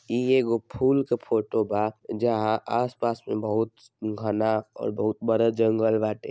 इ एगो फूल के फोटो बा जहाँ आस पास में बहुत घना और बहुत बड़ा जांगले बांटे।